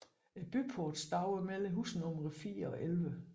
Byporten stod mellem husnumrene 4 og 11